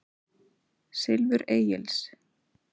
Silfur Egils.